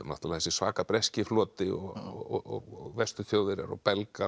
þessi svaka breski floti og Vestur Þjóðverjar og Belgar